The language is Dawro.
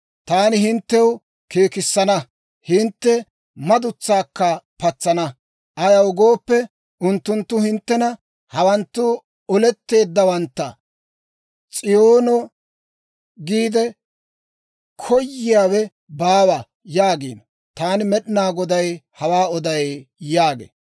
Taani hinttew keekissana; hintte madutsaakka patsana. Ayaw gooppe, unttunttu hinttena, ‹Hawanttu oletteeddawantta; S'iyoono giide koyiyaawe baawa› yaagiino. Taani Med'inaa Goday hawaa oday» yaagee.